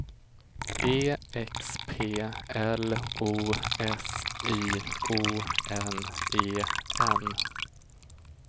E X P L O S I O N E N